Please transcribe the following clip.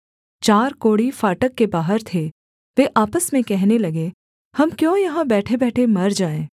चार कोढ़ी फाटक के बाहर थे वे आपस में कहने लगे हम क्यों यहाँ बैठेबैठे मर जाएँ